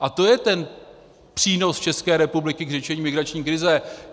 A to je ten přínos České republiky k řešení migrační krize.